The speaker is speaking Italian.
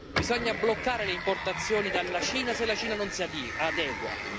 Bisogna bloccare le importazioni dalla Cina, se la Cina non si adegua.